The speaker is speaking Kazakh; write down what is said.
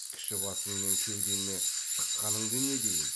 кіші басыңмен кеудеме шыққаныңды не дейін